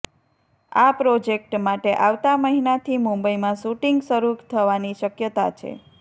આ પ્રોજેક્ટ માટે આવતા મહિનાથી મુંબઈમાં શૂટિંગ શરૂ થવાની શક્યતા છે